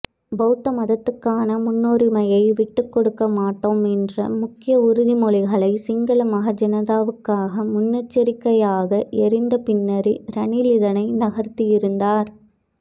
பௌத்த மதத்துக்கான முன்னுரிமையை விட்டுக்கொடுக்கமாட்டோம் என்ற முக்கியஉறுதிமொழிகளை சிங்கள மஹாஜனதாவுக்காக முன்னெச்சரிக்கையாக எறிந்த பின்னரே ரணில் இதனை நகர்த்தியிருந்தார்